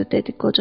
dedi qoca.